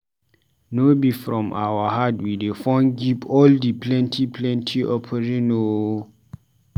No be from our heart we dey from give all di plenty plenty offering o.